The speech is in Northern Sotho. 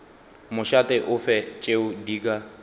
mošate ofe tšeo di ka